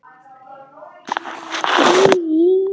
Kemur alveg til hans.